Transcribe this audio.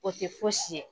O tɛ fosi ye